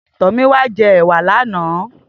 Tomiwa jè èwà lànã